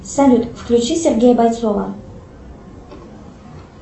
салют включи сергея бойцова